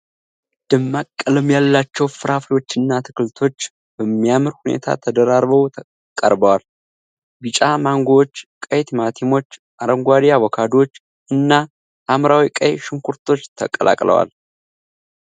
ደማቅ ቀለም ያላቸው ፍራፍሬዎችና አትክልቶች በሚያምር ሁኔታ ተደራርበው ቀርበዋል፡፡ ቢጫ ማንጎዎች፣ ቀይ ቲማቲሞች፣ አረንጓዴ አቮካዶዎች እና ሐምራዊ ቀይ ሽንኩርቶች ተቀላቅለዋል።